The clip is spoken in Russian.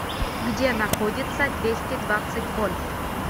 где находится двести двадцать вольт